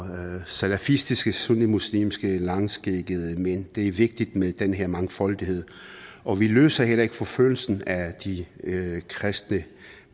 salafistiske sunni muslimske langskæggede mænd det er vigtigt med den her mangfoldighed og vi løser heller ikke forfølgelsen af de kristne